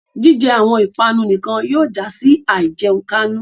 Jijẹ awọn ipanu nikan yóò ja si àìjẹunkánú